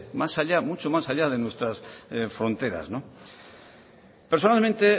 mucho más allá de nuestras fronteras personalmente